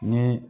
Ni